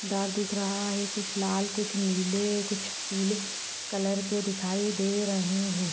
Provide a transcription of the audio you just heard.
धार दिख रहा है कुछ लाल कुछ नीले कुछ पीले कलर के दिखायी दे रहे हैं।